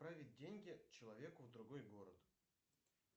отправить деньги человеку в другой город